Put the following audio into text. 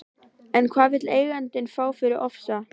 En hvað vill eigandinn fá fyrir Ofsa?